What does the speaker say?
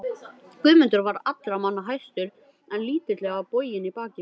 Guðmundur var allra manna hæstur en lítillega boginn í baki.